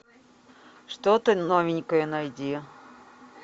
что то новенькое найди